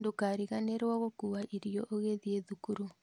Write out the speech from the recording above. Ndũkariganĩrwo gũkua irio ũgĩthii thukuru